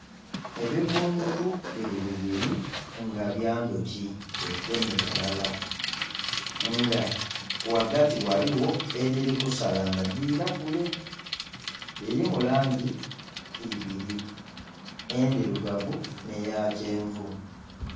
Ebibbungutu biri bibiri nga bya ndhoki dhegemye ghalala nga ghagati ghaligho edhiri kusala nga dhira kule, dhiriku langi ibiri endhirugavu nhe ya kyenvu.